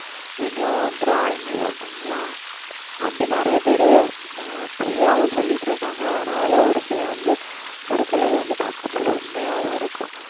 இனியும் drawing எல்லாம் பண்ணலாம் அப்படி நிறைய பேரு அஹ் பொய்யாவும் சொல்லிட்டு இருக்காங்க ஆனால் அதுல ஒரு சில வந்து ஒரு சிலது வந்து பார்க்கும் போது உண்மையாவும் இருக்கும்